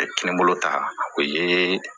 kelen bolo ta o ye